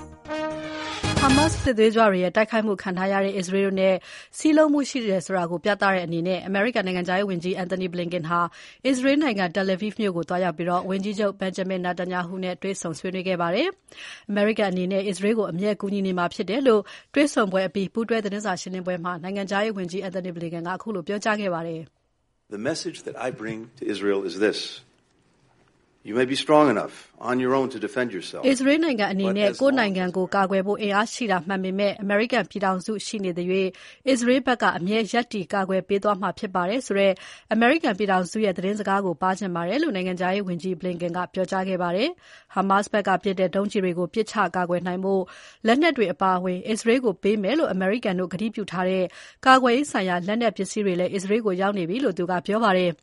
ဟာမက်စ်စစ်သွေးကြွတွေရဲ့ တိုက်ခိုက်မှုခံထားရတဲ့ အစ္စရေးတို့နဲ့ စည်းလုံးမှုရှိတယ်ဆိုတာပြသတဲ့အနေနဲ့ အမေရိကန်နိုင်ငံခြားရေးဝန်ကြီး Antony Blinken အစ္စရေးနိုင်ငံ Tel Aviv မြို့ကိုသွားရောက်ပြီး ဝန်ကြီးချုပ် Benjamin Netanyahu နဲ့ ဒီနေ့ကြာသပတေးနေ့မှာ တွေ့ဆုံဆွေးနွေးခဲ့ပါတယ်။ အမေရိကန်အနေနဲ့ အစ္စရေးကို အမြဲကူညီနေမှာဖြစ်တယ်လို့ တွေ့ဆုံပွဲအပြီး ပူးတွဲသတင်းစာရှင်းပွဲမှာ နိုင်ငံခြားရေးဝန်ကြီး Blinken ကပြောကြားခဲ့ပါတယ်။ အစ္စရေးနိုင်ငံအနေနဲ့ ကိုယ့်နိုင်ငံကိုယ်ကာကွယ်ဖို့ အင်အားရှိတာမှန်ပေမဲ့ အမေရိကန်ပြည်ထောင်စု ရှိနေသရွှေ့ အစ္စရေးဘက်က အမြဲရပ်တည်ကာကွယ်ပေးသွားမှာဖြစ်ပါတယ်ဆိုတဲ့ အမေရိကန်ပြည်ထောင်စုရဲ့ သတင်းစကားကို ပါးချင်ပါတယ်လို့ နိုင်ငံခြားရေးဝန်ကြီး Blinken ကပြောကြားခဲ့ပါတယ်။ ဟာမက်စ်ဘက်ကပစ်တဲ့ ဒုံးကျည်တွေကို ပစ်ချကာကွယ်နိုင်ဖို့လက်နက်တွေအပါအဝင် အစ္စရေးကို ပေးမယ်လို့ အမေရိကန်တို့ ကတိပြုထားတဲ့ ကာကွယ်ရေးဆိုင်ရာ လက်နက်ပစ္စည်းတွေလည်း အစ္စရေးကို ရောက်ရှိနေပြီလို့ သူကပြောပါတယ်။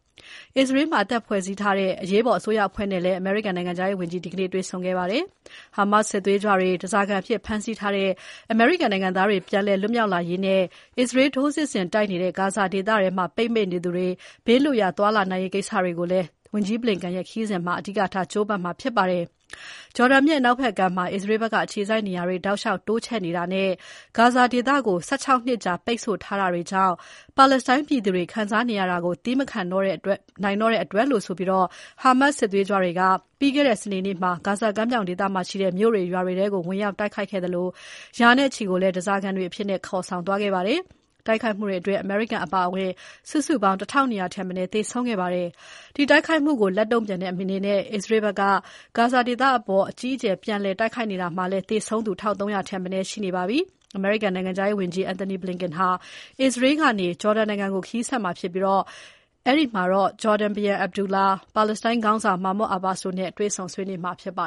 အစ္စရေးမှာ အသစ်ဖွဲ့စည်းထားတဲ့ အရေးပေါ်အစိုးရအဖွဲ့နဲ့လည်း အမေရိကန်နိုင်ငံခြားရေးဝန်ကြီး ဒီနေ့တွေ့ဆုံခဲ့ပါတယ်။ ဟာမက်စ်စစ်သွေးကြွတွေ ဓါးစာခံအဖြစ် ဖမ်းဆီးထားတဲ့ အမေရိကန်နိုင်ငံသားတွေ ပြန်လွတ်မြောက်လာရေးနဲ့ အစ္စရေး ထိုးစစ်ဆင်တိုက်နေတဲ့ ဂါဇာဒေသထဲမှာ ပိတ်မိနေသူတွေ ဘေးလွတ်ရာ သွားနိုင်ရေးကိစ္စတွေကိုလည်း ဝန်ကြီး Blinken ရဲ့ ခရီးစဉ်အတွင်းမှာ အဓိကထား ကြိုးပမ်းမှာဖြစ်ပါတယ်။ ဂျော်ဒန်မြစ်အနောက်ဘက်ကမ်းမှာ အစ္စရေးဘက်က အခြေစိုက်နေရာတွေ တောက်လျှောက်တိုးချဲ့နေတာနဲ့ ဂါဇာဒေသကို ၁၆ နှစ်ကြာ ပိတ်ဆို့ထားတာတွေကြောင့် ပါလက်စတိုင်းပြည်သူတွေခံစားနေရတာကို သည်းမခံနိုင်တော့တဲ့အတွက်လို့ဆိုပြီး ဟာမက်စ်စစ်သွေးကြွတွေက ပြီးခဲ့တဲ့ စနေနေ့မှာ ဂါဇာကမ်းမြောင်ဒေသမှာရှိတဲ့ မြို့တွေ ရွာတွေထဲ ဝင်ရောက် တိုက်ခိုက်ခဲ့သလို ရာနဲ့ချီကိုလည်း ဓါးစာခံတွေအဖြစ် ခေါ်ဆောင်သွားခဲ့ပါတယ်။ တိုက်ခိုက်မှုအတွင်း အမေရိကန်တွေ အပါအဝင် စုစုပေါင်း ၁၂၀၀ ထက်မနည်း သေဆုံးခဲ့ပါတယ်။ ဒီတိုက်ခိုက်မှုကို လက်တုံ့ပြန်တဲ့အနေနဲ့ အစ္စရေးဘက်က ဂါဇာဒေသအပေါ် အကြီးအကျယ်ပြန်လည်တိုက်ခိုက်နေတာမှာလည်း သေဆုံးသူ ၁၃၀၀ ထက်မနည်းရှိနေပါပြီ။ အမေရိကန်နိုင်ငံခြားရေးဝန်ကြီး Antony Blinken ဟာ အစ္စရေးနိုင်ငံကနေ ဂျော်ဒန်နိုင်ငံကို ခရီးဆက်မှာဖြစ်ပြီး အဲဒီမှာ ဂျော်ဒန်ဘုရင် Abdullah, ပါလက်စတိုင်းခေါင်းဆောင် Mahmoud Abbas တို့နဲ့ တွေ့ဆုံ ဆွေးနွေးမှာဖြစ်ပါ